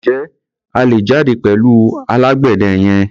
Ǹjẹ́ a lè jáde pẹ̀lú alágbẹ̀dẹ yẹn?